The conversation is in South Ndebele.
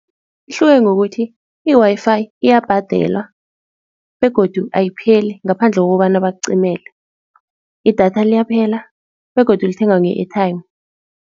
Ihluke ngokuthi i-Wi-Fi iyabhadelwa begodu ayipheli ngaphandle kokobana bakucimele. Idatha liyaphela begodu lithengwa nge-airtime.